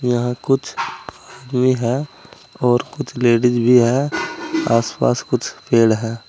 यहां कुछ आदमी है और कुछ लेडीज भी है आसपास कुछ पेड़ हैं।